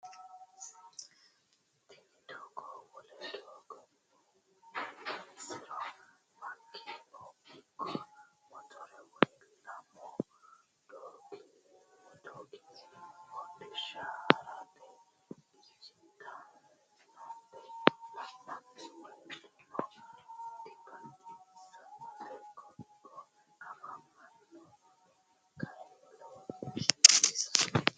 Tini doogo wole doogonni heewisinsiro makinu ikko motore woy lamu goommi hodhishsha harate dinjitinnote la'nanni woyiteno dibaxissannote. koo"o afamanno mini kayinni lowo geeshsa baxissanno.